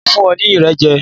Mi ò ní fún ọ ní Irẹ̀ jẹ.